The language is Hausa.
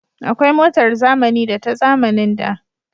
Akwai motar zamani da ta zamanin da